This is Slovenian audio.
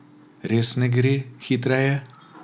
Res ne gre hitreje?